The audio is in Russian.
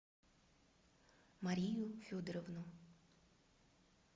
марию федоровну